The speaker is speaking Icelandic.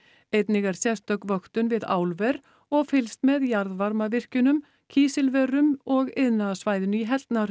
einnig er sérstök vöktun við álver og fylgst með jarðvarmavirkjunum kísilverum og iðnaðarsvæðinu í